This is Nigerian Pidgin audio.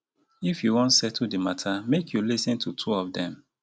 if you wan settle di mata make you lis ten to two of dem.